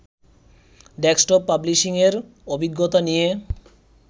desktop পাবলিশিংয়ের অভিজ্ঞতা নিয়ে